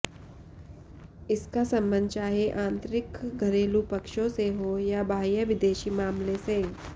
इसका सम्बन्ध चाहे आन्तरिक घरेलू पक्षों से हो या बाह्य विदेशी मामले से